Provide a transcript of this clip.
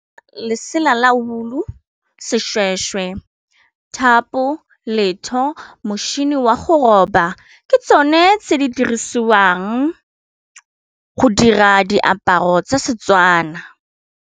Lesela la woolo-o seshweshwe, thapo, letho, motšhini wa go roba ke tsone tse di dirisiwang go dira diaparo tsa Setswana.